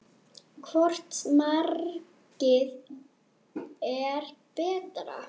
Hvort markið er betra?